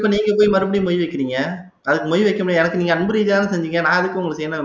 நீங்க போய் மறுபடியும் மொய் வைக்கிறீங்க அதுக்கு மொய் வைக்க முடியாது எனக்கு நீங்க அன்பு ரீதியா தானே செஞ்சீங்க நா எதுக்கு உங்களுக்கு செய்யணும்